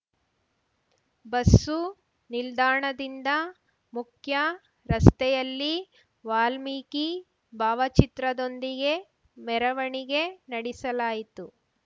bus ನಿಲ್ದಾಣದಿಂದ ಮುಖ್ಯ ರಸ್ತೆಯಲ್ಲಿ ವಾಲ್ಮೀಕಿ ಭಾವಚಿತ್ರದೊಂದಿಗೆ ಮೆರವಣಿಗೆ ನಡಿಸಲಾಯಿತು